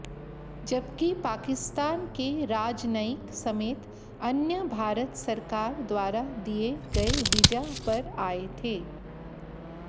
जबकि पाकिस्तान के राजनयिक समेत अन्य भारत सरकार द्वारा दिए गए वीजा पर आए थे